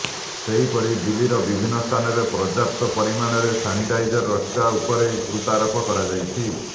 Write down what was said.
ସେହିପରି ଦିଲ୍ଲୀର ବିଭିନ୍ନ ସ୍ଥାନରେ ପର୍ଯ୍ୟାପ୍ତ ପରିମାଣରେ ସାନିଟାଇଜର ରଖିବା ଉପରେ ଗୁରୁତ୍ୱାରୋପ କରାଯାଇଛି